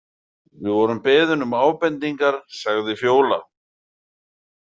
Við vorum beðin um ábendingar, sagði Fjóla.